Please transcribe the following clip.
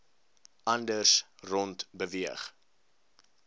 anders rond beweeg